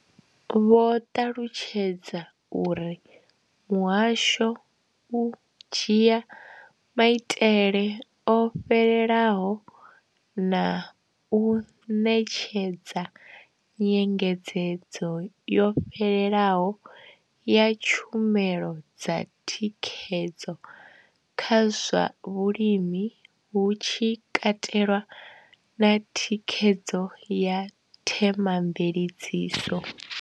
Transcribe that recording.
Vho ṱalutshedza uri muhasho u dzhia maitele o fhelelaho na u ṋetshedza nyengedzedzo yo fhelelaho ya tshumelo dza thikhedzo kha zwa vhulimi, hu tshi katelwa na thikhedzo ya thema mveledziso.